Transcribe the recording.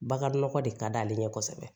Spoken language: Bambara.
Baganɔgɔ de ka d'ale ɲɛ kosɛbɛ